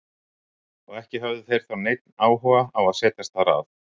Og ekki höfðu þeir þá neinn áhuga á að setjast þar að.